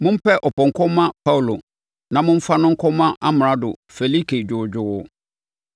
Mompɛ ɔpɔnkɔ mma Paulo na momfa no nkɔma Amrado Felike dwoodwoo.”